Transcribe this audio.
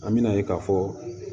An bɛna ye k'a fɔ